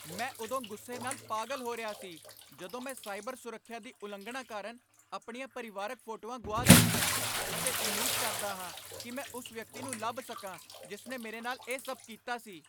ਮੈਂ ਉਦੋਂ ਗੁੱਸੇ ਨਾਲ ਪਾਗ਼ਲ ਹੋ ਰਿਹਾ ਸੀ ਜਦੋਂ ਮੈਂ ਸਾਈਬਰ ਸੁਰੱਖਿਆ ਦੀ ਉਲੰਘਣਾ ਕਾਰਨ ਆਪਣੀਆਂ ਪਰਿਵਾਰਕ ਫੋਟੋਆਂ ਗੁਆ ਦਿੱਤੀਆਂ ਅਤੇ ਉਮੀਦ ਕਰਦਾ ਹਾਂ ਕਿ ਮੈਂ ਉਸ ਵਿਅਕਤੀ ਨੂੰ ਲੱਭ ਸਕਾਂ ਜਿਸ ਨੇ ਮੇਰੇ ਨਾਲ ਇਹ ਸਭ ਕੀਤਾ ਸੀ।